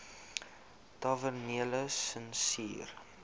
tavernelisensier